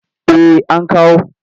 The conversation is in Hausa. Eh an kawo.